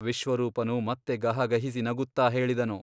ವಿಶ್ವರೂಪನು ಮತ್ತೆ ಗಹಗಹಿಸಿ ನಗುತ್ತ ಹೇಳಿದನು.